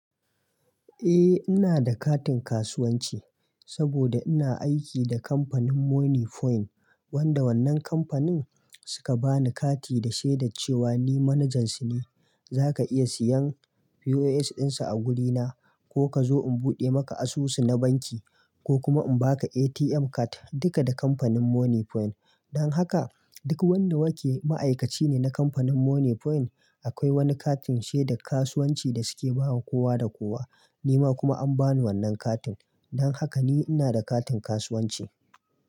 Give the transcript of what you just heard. Eh ina da katin kasuwanci saboda ina aiki da kamfanin Moniepoint, wanda wannan kamfanin suka bani kati da shaidar cewa ni manajan su ne. Zaka iya siyan POS ɗinsu a wurina ko ka zo in buɗe maka asusu na banki ko kuma in baka ATM card duka da kamfanin Moniepoint. Don haka duk wanda yake ma'aikaci ne na kamfanin Moniepoint akwai wani katin shaidan kasuwanci da suke bawa kowa da kowa. Ni ma kuma an bani wannan katin. Don haka ni ina da katin kasuwanci.